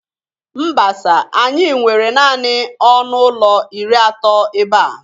Mba sir, anyị nwere naanị ọnụ ụlọ iri atọ ebe a.